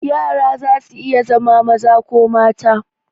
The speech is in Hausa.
Yara zasu iya zama maza ko mata.